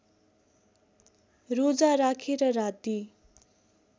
रोजा राखेर राति